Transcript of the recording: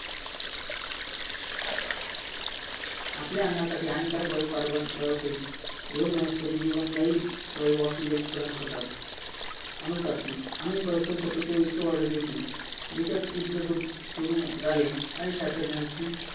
आपल्या अन्नासाठी हानिकारक वायू म्हणजे carbon dioxide व वनस्पती आपणास oxygen वायू प्रदान करतात अणुचाचणी परस्पर शत्रुत्व इतके वाढवले आहे का देशात युद्ध सुरू झाले आणि शास्त्रज्ञांची